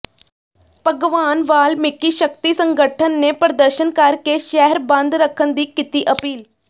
ਭਗਵਾਨ ਵਾਲਮੀਕਿ ਸ਼ਕਤੀ ਸੰਗਠਨ ਨੇ ਪ੍ਰਦਰਸ਼ਨ ਕਰਕੇ ਸ਼ਹਿਰ ਬੰਦ ਰੱਖਣ ਦੀ ਕੀਤੀ ਅਪੀਲ